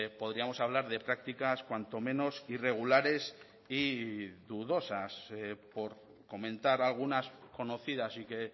podríamos hablar de prácticas cuanto menos irregulares y dudosas por comentar algunas conocidas y que